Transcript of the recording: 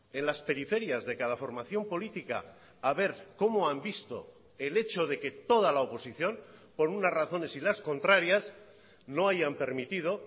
en las periferias de cada formación política a ver cómo han visto el hecho de que toda la oposición por unas razones y las contrarias no hayan permitido